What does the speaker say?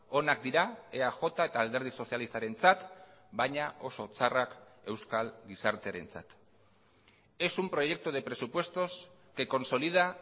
onak dira eaj eta alderdi sozialistarentzat baina oso txarrak euskal gizartearentzat es un proyecto de presupuestos que consolida